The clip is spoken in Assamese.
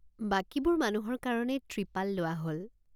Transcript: বাকীবোৰ মানুহৰ কাৰণে ত্ৰিপাল লোৱা হল।